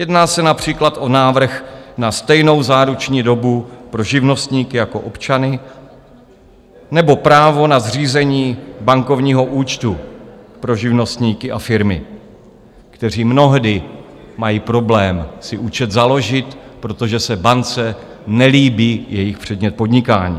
Jedná se například o návrh na stejnou záruční dobu pro živnostníky jako občany nebo právo na zřízení bankovního účtu pro živnostníky a firmy, kteří mnohdy mají problém si účet založit, protože se bance nelíbí jejich předmět podnikání.